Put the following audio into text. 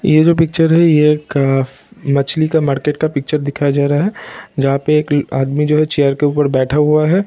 यह जो पिक्चर है यह एक मछली के मार्किट का पिक्चर दिखाया जा रहा है जहां पे एक आदमी जो है चेयर के ऊपर बैठा हुआ है।